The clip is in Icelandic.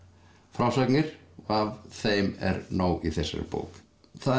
frásagnir af þeim er nóg í þessari bók það